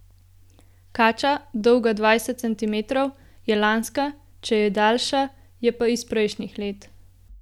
Kača, dolga dvajset centimetrov, je lanska, če je daljša, je pa iz prejšnjih let.